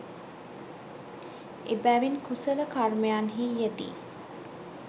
එබැවින් කුසල කර්මයන්හි යෙදී